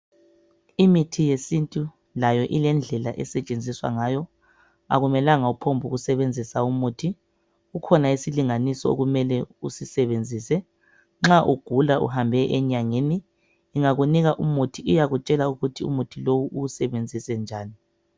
Imithi yesintu layo ilendlela esetshenziswa ngayo, akumelanga uphongusebenzisa umuthi, kukhona isilinganiso okumele usisebenzise nxa ugula uhambe enyangeni ingakunika umuthi iyakutshela ukuthi umuthi lo uwusebenzise njani.